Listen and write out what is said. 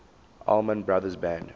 allman brothers band